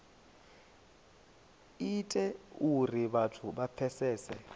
ite uri vhathu vha pfesese